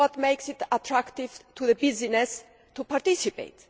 This is what makes it attractive for business to participate.